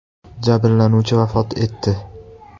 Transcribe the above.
Jabrlanuvchi vafot etdi.